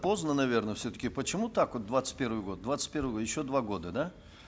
поздно наверно все таки почему так вот двадцать первый год двадцать первый год еще два года да